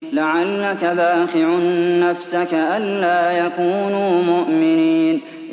لَعَلَّكَ بَاخِعٌ نَّفْسَكَ أَلَّا يَكُونُوا مُؤْمِنِينَ